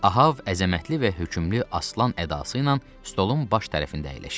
Ahav əzəmətli və hökümlü aslan ədası ilə stolun baş tərəfində əyləşib.